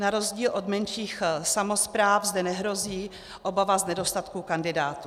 Na rozdíl od menších samospráv zde nehrozí obava z nedostatku kandidátů.